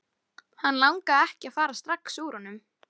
Hann langaði ekki að fara strax úr honum.